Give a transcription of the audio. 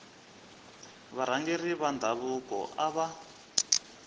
varhangeri va ndhavuko a va